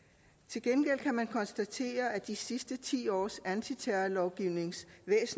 til gengæld kan man konstatere at de sidste ti års anti terrorlovgivnings